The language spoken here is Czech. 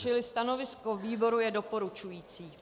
Čili stanovisko výboru je doporučující.